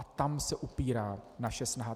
A tam se upírá naše snaha.